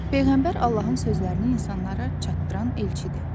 Peyğəmbər Allahın sözlərini insanlara çatdıran elçidir.